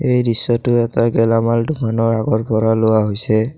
এই দৃশ্যটো এটা গেলামাল দোকানৰ আগৰ পৰা লোৱা হৈছে।